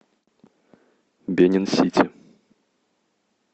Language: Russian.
бенин сити